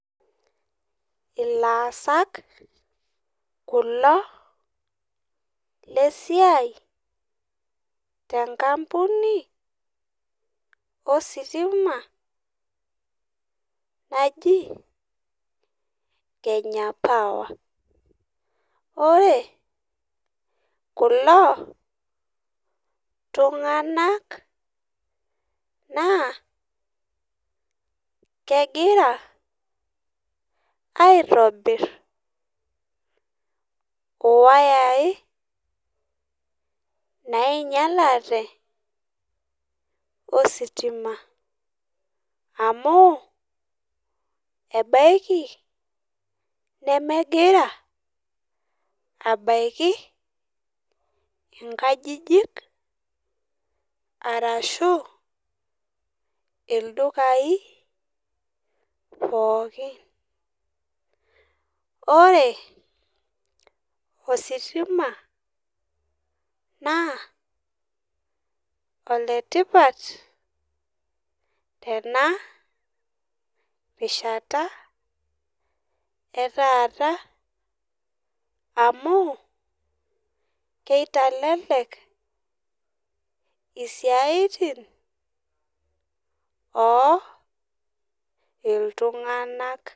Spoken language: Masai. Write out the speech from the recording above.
Elasak kulo lesiai tenkampuni ositima naaji Kenya power ore kulo tung'ana naa kegira aitobir wayai nainyialate ositima amu ebaiki nemegira abaiki enkajijik arashu ildukai pookin ore ositima naa oletipat Tena rishata etaata amu kitelelek esiayiti oo iltung'ana